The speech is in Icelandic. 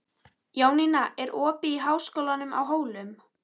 Jónína, er opið í Háskólanum á Hólum?